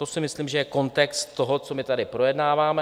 To si myslím, že je kontext toho, co my tady projednáváme.